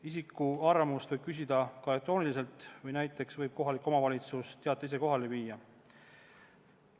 Isiku arvamust võib küsida ka elektrooniliselt, samuti võib kohalik omavalitsus teate ise kohale viia.